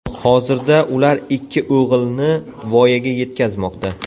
Hozirda ular ikki o‘g‘ilni voyaga yetkazmoqda.